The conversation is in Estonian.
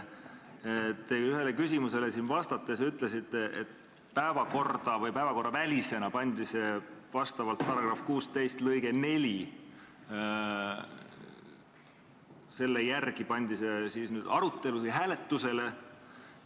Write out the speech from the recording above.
Te siin ühele küsimusele vastates ütlesite, et päevakorravälisena pandi see küsimus vastavalt § 16 lõikele 4 hääletusele.